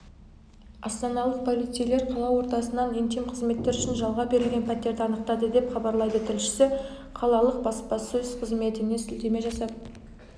астаналық полицейлер қала ортасынан интим қызметтер үшін жалға берілген пәтерді анықтады деп хабарлайды тілшісі қалалық баспасөз қызметіне сілтеме жасап